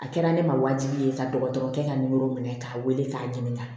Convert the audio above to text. A kɛra ne ma wajibi ye ka dɔgɔtɔrɔkɛ ka minɛ k'a wele k'a ɲininka